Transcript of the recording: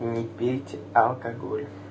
не пейте алкоголь